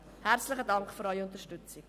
Herzlichen Dank für Ihre Unterstützung.